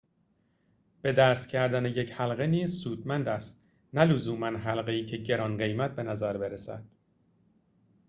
به دست کردن یک حلقه نیز سودمند است نه لزوماً حلقه‌ای که گران‌قیمت بنظر برسد